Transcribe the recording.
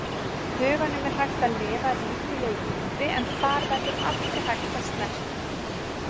huganum er hægt að lifa ríkulegu lífi en þar verður aldrei hægt að snerta.